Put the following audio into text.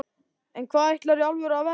en hvað ætlarðu í alvörunni að verða?